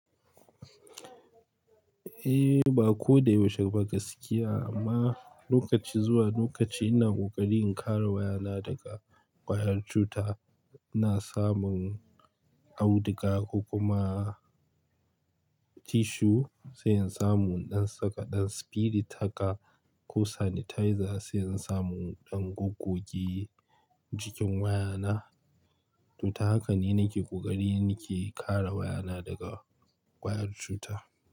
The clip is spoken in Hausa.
Eh, ba ko da yaushe fa ka sakiya amma, lokaci, zuwa lokaci, ina kokari in kare wayana daga wayar cuta. Ina samun auduga ko kuma, tissue sai in samu ɗan saka ɗan spirit haka ko sanitizer, sai in samu inɗan goggo, ki jikin wayana. Tuta haka ne nake kokari nake kare wayana, daga wayar cuta.